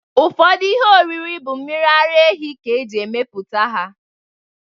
Ụfọdụ ihe oriri bụ mmiri ara ehi ka e ji emepụta ha.